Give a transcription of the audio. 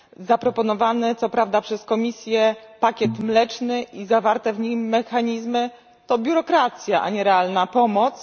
Zaproponowany co prawda przez Komisję pakiet mleczny i zawarte w nim mechanizmy to biurokracja, a nie realna pomoc.